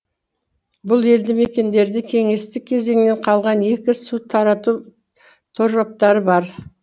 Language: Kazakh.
бұл елді мекендерде кеңестік кезінен қалған екі су тарату тораптары бар